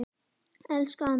Elsku Andri minn.